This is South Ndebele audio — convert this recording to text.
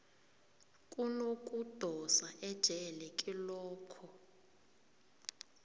kunokudosa ejele kilokho